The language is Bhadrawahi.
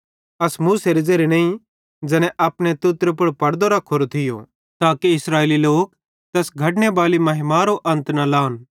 अस मूसारे ज़ेरे नईं ज़ैने अपने तुतरे पुड़ पड़दो रखोरो थियो ताके इस्राएली लोक तैस घटने बैली महिमारो अन्त न लहन